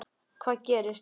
Hvað gerist?